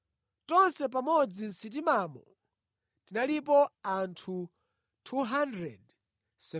Tonse pamodzi mʼsitimamo tinalipo anthu 276.